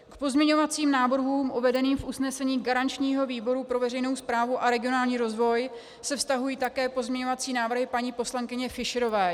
K pozměňovacím návrhům uvedeným v usnesení garančního výboru pro veřejnou správu a regionální rozvoj se vztahují také pozměňovací návrhy paní poslankyně Fischerové.